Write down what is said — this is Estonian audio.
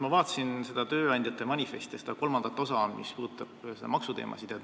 Ma vaatasin tööandjate manifesti kolmandat osa, mis puudutab maksuteemasid.